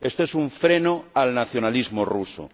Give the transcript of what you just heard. Esto es un freno al nacionalismo ruso.